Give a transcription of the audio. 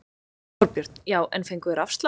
Þorbjörn: Já en fengu þeir afslátt?